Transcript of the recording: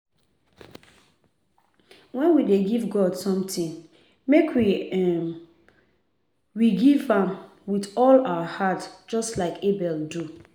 Wen we dey give God something make um we give am with all our heart just like Abel do